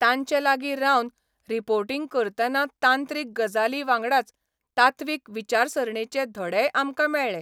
तांचे लागीं रावन रिपोर्टिंग करतना तांत्रीक गजालीं वांगडाच तात्वीक विचारसरणेचे धडेय आमकां मेळ्ळे.